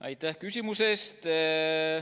Aitäh küsimuse eest!